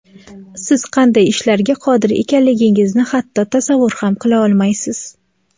Siz qanday ishlarga qodir ekanligingizni hatto tasavvur ham qila olmaysiz.